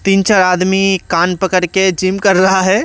तीन-चार आदमी कान पकड़ के जिम कर रहा है।